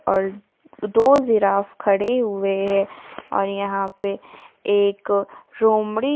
और दो जिराफ़ खड़े हुए हैं और यहां पे एक लोमड़ी--